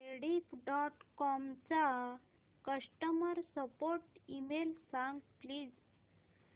Rediff dot com चा customer support email सांग please